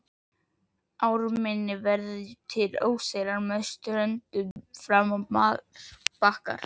Við ármynnin verða til óseyrar en með ströndum fram marbakkar.